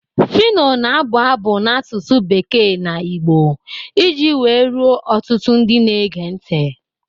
Phyno na-abụ abụ n'asụsụ bekee na Igbo iji wee ruo ọtụtụ ndị na-ege ntị.